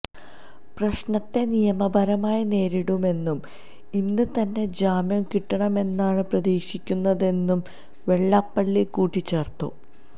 പ്രശ്നത്തെ നിയമപരമായി നേരിടുമെന്നും ഇന്ന് തന്നെ ജാമ്യം കിട്ടുമെന്നാണ് പ്രതീക്ഷിക്കുന്നതെന്നും വെള്ളാപ്പള്ളി കൂട്ടിച്ചേർത്തു